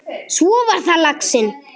Svo var það laxinn!